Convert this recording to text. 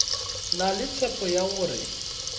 na le tshepo ya gore